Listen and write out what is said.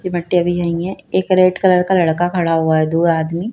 ये मट्टी अभी यही है एक रेड कलर का लड़का खड़ा हुआ है दो आदमी--